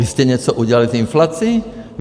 Vy jste něco udělali s inflací?